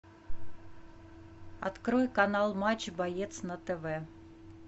открой канал матч боец на тв